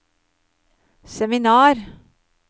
seminar